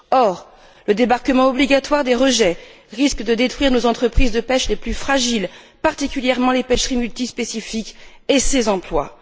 Or, le débarquement obligatoire des rejets risque de détruire nos entreprises de pêche les plus fragiles, particulièrement les pêcheries multispécifiques et leurs emplois.